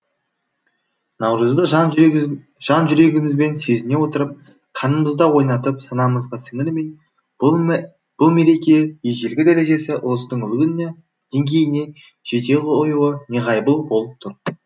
наурызды жан жүрегімізбен сезіне отырып қанымызда ойнатып санамызға сіңірмей бұл мереке ежелгі дәрежесі ұлыстың ұлы күніне деңгейіне жете қоюы неғайбыл болып тұр